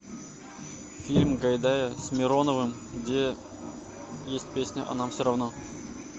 фильм гайдая с мироновым где есть песня а нам все равно